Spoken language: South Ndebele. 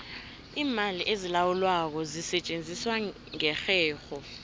iimali ezilawulwako zisetjenziswa ngerherho